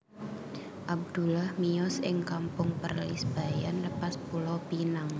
Abdullah miyos ing Kampung Perlis Bayan Lepas Pulo Pinang